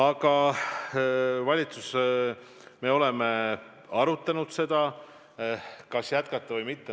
Aga valitsuses me oleme arutanud, kas seda meedet jätkata või mitte.